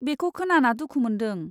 बेखौ खोनाना दुखु मोन्दों।